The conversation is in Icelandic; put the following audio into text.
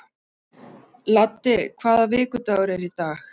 Laddi, hvaða vikudagur er í dag?